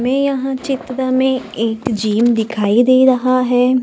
हमें यहां चित्र में एक जिम दिखाई दे रहा है।